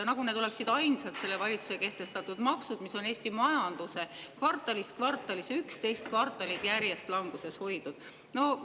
Nagu need oleksid ainsad selle valitsuse kehtestatud maksud, mis on Eesti majandust kvartalist kvartalisse, 11 kvartalit järjest languses hoidnud!